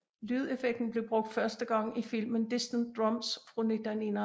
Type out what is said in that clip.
Lydeffekten blev brugt første gang i filmen Distant Drums fra 1951